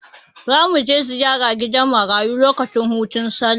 Za mu je ziyara gidan marayu lokacin hutun Sallah.